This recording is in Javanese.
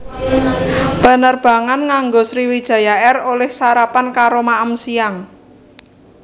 Penerbangan nganggo Sriwijaya Air oleh sarapan karo maem siang